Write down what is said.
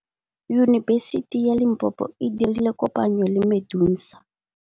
Yunibesiti ya Limpopo e dirile kopanyô le MEDUNSA.